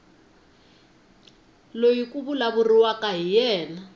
loyi ku vulavuriwaka hi yena